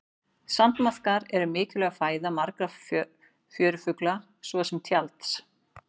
Sandmaðkar eru mikilvæg fæða margra fjörufugla svo sem tjalds.